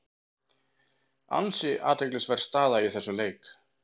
Ansi athyglisverð staða í þessum leik.